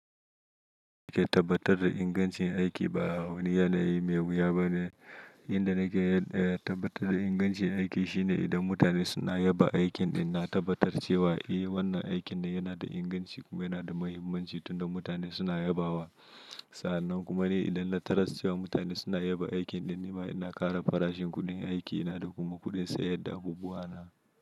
Ke tabbatar da ingancin aiki ba wani yanayi mai wuya bane. Inda nake tabbatar da ingancin aiki shine idan mutane suna yaba aikin ɗin, na tabbatar cewa eh wannan aikin yana da inganci kuma yana da muhimmanci tun da mutane suna yabawa. Sa'an nan kuma ne idan na taras cewa mutane suna yaba aikin ɗin, nima ina ƙara farashin kuɗin yin aikina da kuma kuɗin sayar da abubuwa na.